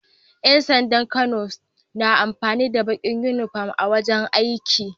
Yan sandan Kano na amfani da Bakin inufom a wajan aiki